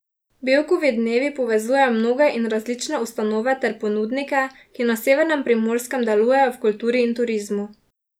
Bevkovi dnevi povezujejo mnoge in različne ustanove ter ponudnike, ki na severnem Primorskem delujejo v kulturi in turizmu.